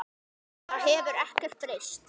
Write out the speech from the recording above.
Það hefur ekkert breyst.